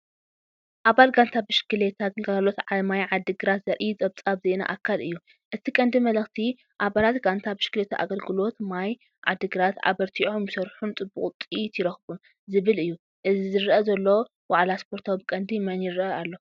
ኣባል ጋንታ ብሽክለታ ግልጋሎት ማይ ዓዲግራት ዘርኢ ፀብፃብ ዜና ኣካል እዩ። እቲ ቀንዲ መልእኽቲ "ኣባላት ጋንታ ብሽክለታ ኣገልግሎት ማይ ዓዲግራት ኣበርቲዖም ይሰርሑን ፅቡቕ ውፅኢት ይረኽቡን" ዝብል እዩ። ዝረአ ዘሎ ዋዕላ ስፖርት ብቀንዲ መን ይረአ ኣሎ?